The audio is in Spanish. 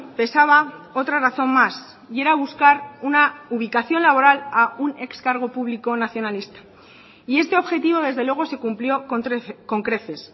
pesaba otra razón más y era buscar una ubicación laboral a un excargo público nacionalista y este objetivo desde luego se cumplió con creces